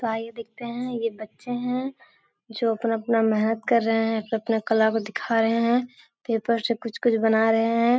तो आइए देखते है ये बच्चे है जो अपना-अपना मेहनत कर रहे है अपने-अपने कला को दिखा रहे है पेपर से कुछ-कुछ बना रहे है।